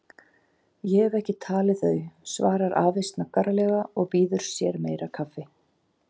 Ég hef ekki talið þau, svarar afi snaggaralega og býður sér meira kaffi.